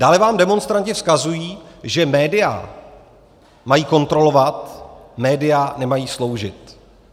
Dále vám demonstranti vzkazují, že média mají kontrolovat, média nemají sloužit.